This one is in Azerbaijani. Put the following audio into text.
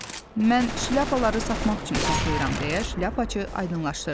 Mən şlyapaları satmaq üçün saxlayıram deyə Şlyapaçı aydınlaşdırdı.